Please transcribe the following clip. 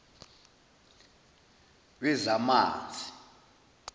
wezamanzi